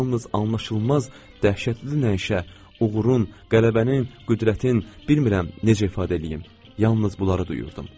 Yalnız anlaşılmaz dəhşətli nəişə, uğurun, qələbənin, qüdrətin, bilmirəm, necə ifadə eləyim, yalnız bunları duyurdum.